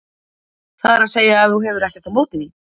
það er að segja ef þú hefur ekkert á móti því.